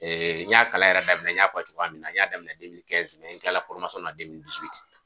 n y'a kala yɛrɛ daminɛ n y'a fɔ cogoya min na n y'a daminɛ n kila la